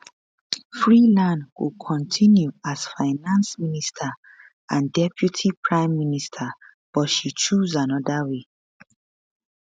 freeland go continue as finance minister and deputy prime minister but she choose anoda way